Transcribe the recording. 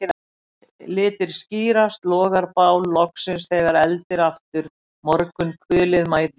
Litir skýrast, logar bál loksins þegar eldir aftur morgunkulið mætir þér